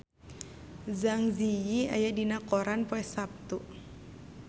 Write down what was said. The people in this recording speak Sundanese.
Zang Zi Yi aya dina koran poe Saptu